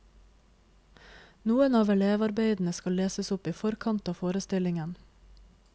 Noen av elevarbeidene skal leses opp i forkant av forestillingen.